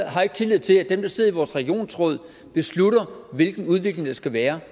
har ikke tillid til at dem der sidder i vores regionsråd beslutter hvilken udvikling der skal være